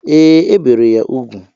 E, e bere ya ugwu